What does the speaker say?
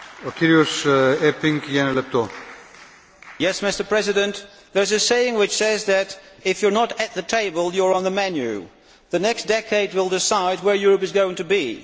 Mr President, there is a saying that if you are not at the table, you are on the menu. The next decade will decide where Europe is going to be.